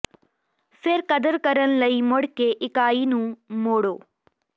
ਫਿਰ ਕਦਰ ਕਰਨ ਲਈ ਮੁੜ ਕੇ ਇਕਾਈ ਨੂੰ ਮੋੜੋ